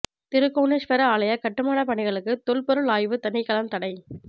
திருக்கோணேஸ்வர ஆலய கட்டுமானப் பணிகளுக்கு தொல் பொருள் ஆய்வுத் தினைக்களம் தடை